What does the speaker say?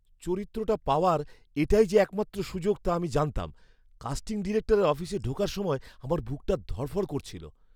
চরিত্রটা পাওয়ার এটাই যে একমাত্র সুযোগ তা আমি জানতাম, কাস্টিং ডিরেক্টরের অফিসে ঢোকার সময় আমার বুকটা ধড়ফড় করছিল।